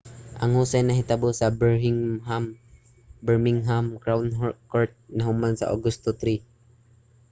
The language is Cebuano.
ang husay nahitabo sa birmingham crown court ug nahuman sa agosto 3